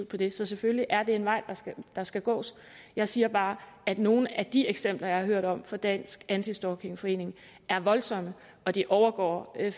på det så selvfølgelig er det en vej der skal gås jeg siger bare at nogle af de eksempler jeg har hørt om fra dansk anti stalking forening er voldsomme og de overgår